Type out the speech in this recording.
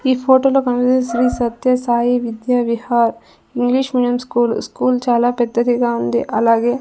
ఈ ఫోటోలో కనిపి Sri Sathya Sai Vidya Vihar English medium school school చాలా పెద్దదిగా ఉంది అలాగే--